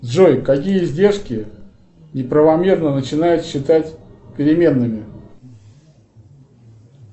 джой какие издержки неправомерно начинают считать переменными